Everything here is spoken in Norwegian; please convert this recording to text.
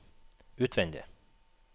utvendig